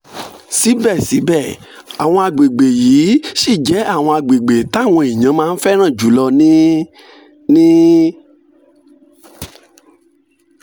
síbẹ̀síbẹ̀ àwọn àgbègbè yìí ṣì jẹ́ àwọn àgbègbè táwọn èèyàn máa ń fẹ́ràn jù lọ ní ní